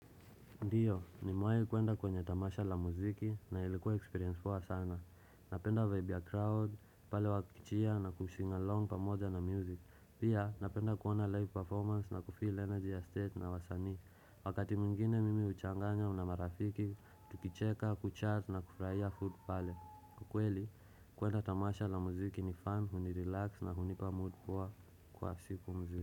Ndiyo, nimewai kuenda kwenye tamasha la muziki na ilikuwa experience poa sana. Napenda vibe ya crowd, pale wakicheer na kusing along pamoja na music. Pia, napenda kuona live performance na kufill energy ya stage na wasanii. Wakati mwingine mimi uchanganya na marafiki, tukicheka, kuchat na kufurahia food pale. Kwa kweli, kuenda tamasha la muziki ni fun, hunirelax na hunipa mood poa kwa siku mzima.